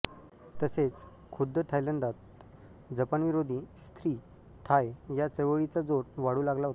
तसेच खुद्ध थायलंडात जपानविरोधी स्री थाय या चळवळीचा जोर वाढू लागला होता